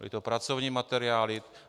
Byly to pracovní materiály.